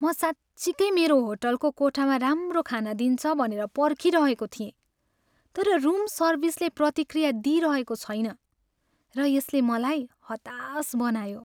म साँच्चिकै मेरो होटलको कोठामा राम्रो खाना दिन्छ भनेर पर्खिरहेको थिएँ, तर रुम सर्भिसले प्रतिक्रिया दिइरहेको छैन र यसले मलाई हताश बनायो।